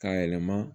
K'a yɛlɛma